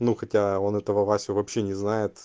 ну хотя он этого васю вообще не знает